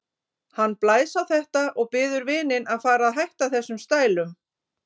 Hann blæs á þetta og biður vininn að fara að hætta þessum stælum.